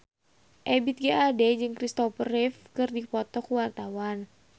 Ebith G. Ade jeung Christopher Reeve keur dipoto ku wartawan